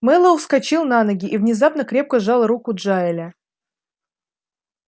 мэллоу вскочил на ноги и внезапно крепко сжал руку джаэля